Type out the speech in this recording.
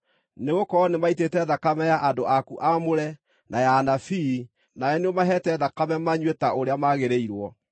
nĩgũkorwo nĩmaitĩte thakame ya andũ aku aamũre, na ya anabii, nawe nĩũmaheete thakame manyue ta ũrĩa magĩrĩirwo.”